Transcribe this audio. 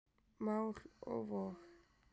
Mál og vog.